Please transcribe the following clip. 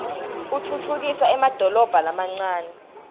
utfutfukisa emadolobha lamancane